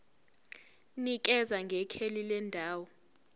nikeza ngekheli lendawo